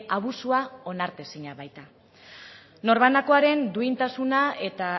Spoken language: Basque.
abusua onartezina baita norbanakoaren duintasuna eta